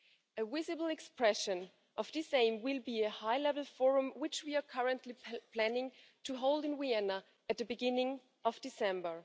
A visible expression of this aim will be a high level forum, which we are currently planning to hold in Vienna at the beginning of December.